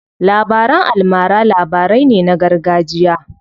Labaran almara labarai ne na gargajiya.